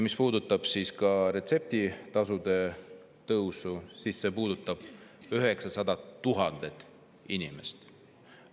Ja retseptitasude tõus puudutab 900 000 inimest.